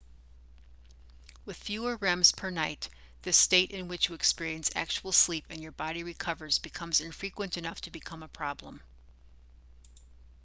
with fewer rems per night this state in which you experience actual sleep and your body recovers becomes infrequent enough to become a problem